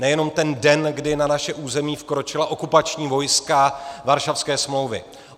Nejenom ten den, kdy na naše území vkročila okupační vojska Varšavské smlouvy.